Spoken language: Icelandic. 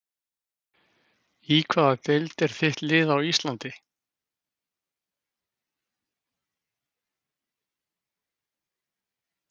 Í hvaða deild er þitt lið á Íslandi?